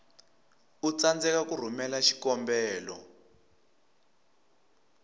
u tsandzeka ku rhumela xikombelo